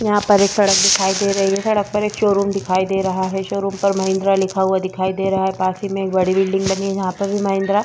यहाँ पे एक सड़क दिखाई दे रही है सड़क पर एक शोरूम दे रहा है शोरूम पर महिंद्रा लिखा हुआ दिखाई दे रहा है पास ही में एक बड़ी सी बिल्डिंग बनी है जहा पर भी महिंद्रा --